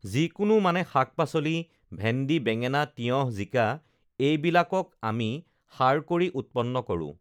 যিকোনো মানে শাক-পাচলি ভেণ্ডি বেঙেনা তিয়হঁ জিকা এইবিলাকক আমি সাৰ কৰি উৎপন্ন কৰোঁ